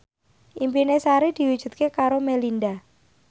impine Sari diwujudke karo Melinda